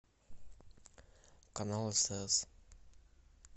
канал стс